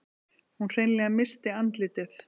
Hún hreinlega missti andlitið.